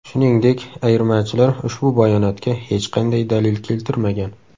Shuningdek, ayirmachilar ushbu bayonotga hech qanday dalil keltirmagan.